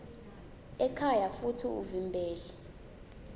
ekhaya futsi uvimbele